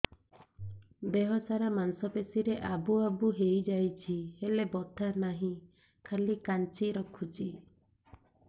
ଦେହ ସାରା ମାଂସ ପେଷି ରେ ଆବୁ ଆବୁ ହୋଇଯାଇଛି ହେଲେ ବଥା ନାହିଁ ଖାଲି କାଞ୍ଚି ରଖୁଛି